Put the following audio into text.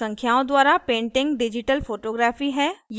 संख्याओं द्वारा painting digital photography है